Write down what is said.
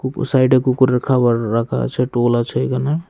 দু সাইডে কুকুরের খাবার রাখা আছে টুল আছে এখানে।